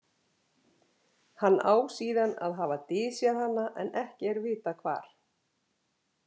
Hann á síðan að hafa dysjað hana en ekki er vitað hvar.